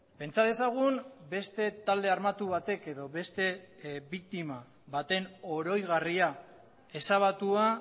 pentsa dezagun beste talde armatu batek edo beste biktima baten oroigarria ezabatua